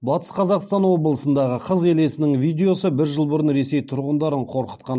батыс қазақстан облысындағы қыз елесінің видеосы бір жыл бұрын ресей тұрғындарын қорқытқан